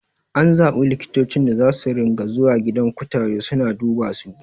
An zaɓi likitocin da zasu ringa zuwa gidan kutare suna dubasu